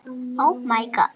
Fiskar eru með sporð.